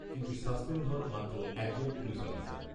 কিন্তু সাসপেণ্ড হন মাত্র এক জন পুলিশঅফিসার